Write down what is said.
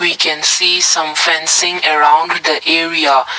i can see some fencing around the area.